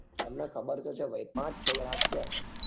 તમને ખબર તો છે ભાઈ પાંચ છ જાના છીએ અમે